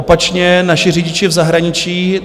Opačně, naši řidiči v zahraničí.